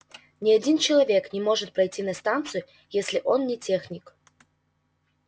ни один человек не может пройти на станцию если он не техник